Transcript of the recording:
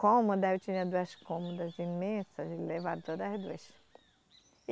Cômoda, eu tinha duas cômodas imensas, eles levaram todas as duas.